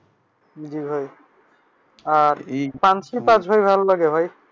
জি ভাই আর পাঞ্চিপাছ ভালো লাগে ভাই?